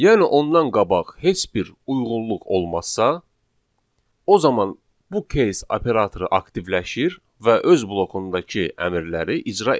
Yəni ondan qabaq heç bir uyğunluq olmazsa, o zaman bu case operatoru aktivləşir və öz blokundakı əmrləri icra edir.